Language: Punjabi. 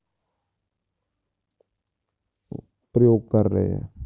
ਪ੍ਰਯੋਗ ਕਰ ਰਹੇ ਆ।